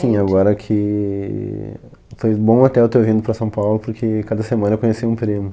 Sim, agora que... Foi bom até eu ter vindo para São Paulo, porque cada semana eu conheci um primo.